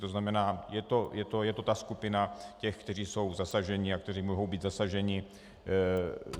To znamená, je to ta skupina těch, kteří jsou zasažení a kteří mohou být zasaženi.